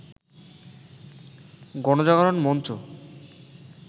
গণজাগরণ মঞ্চ